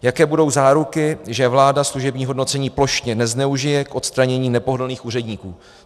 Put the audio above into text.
Jaké budou záruky, že vláda služební hodnocení plošně nezneužije k odstranění nepohodlných úředníků?